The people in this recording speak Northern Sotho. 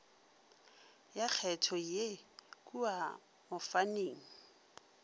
ya kgetho ye kua mofaning